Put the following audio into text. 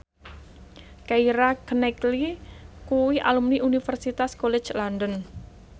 Keira Knightley kuwi alumni Universitas College London